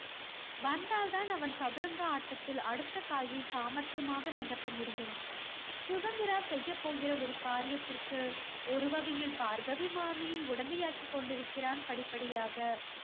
வந்தால் தான் அவன் சதுரங்க ஆட்டத்தில் அடுத்தக் காயை சாமர்த்தியமாக நகர்த்த முடியும். சுதந்திரா செய்யப் போகிற ஒரு காரியத்திற்கு ஒரு வகையில் பார்கவி மாமியை உடந்தையாக்கி கொண்டிருக்கிறான் படிப்படியாக.